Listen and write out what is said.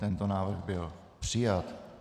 Tento návrh byl přijat.